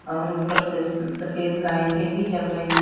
और ऊपर से स-सफ़ेद लाइटे भी जल रही है।